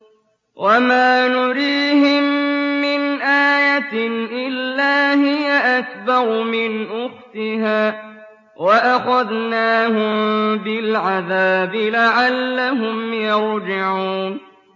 وَمَا نُرِيهِم مِّنْ آيَةٍ إِلَّا هِيَ أَكْبَرُ مِنْ أُخْتِهَا ۖ وَأَخَذْنَاهُم بِالْعَذَابِ لَعَلَّهُمْ يَرْجِعُونَ